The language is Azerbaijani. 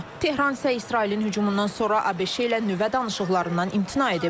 Tehran isə İsrailin hücumundan sonra ABŞ-lə nüvə danışıqlarından imtina edib.